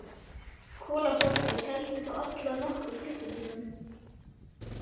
Kolaportið og seldi þá alla á nokkrum klukkutímum.